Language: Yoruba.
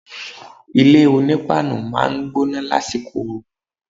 Ilé onípáánù máa ń gbóná lásìkò oòrùn